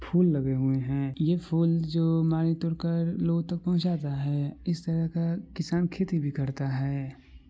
फूल लगे हुए हैं ये फूल जो माली तोड़कर लोगों तक पहुंचाता है। इस तरह का किसान खेती भी करता है।